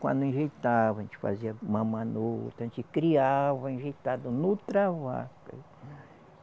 Quando enjeitava, a gente fazia mamãe em outra, a gente criava enjeitado em outra vaca.